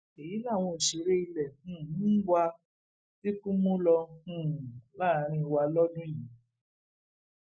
èyí làwọn òṣèré ilé um wa tíkú mú lò um láàrín wa lọdún yìí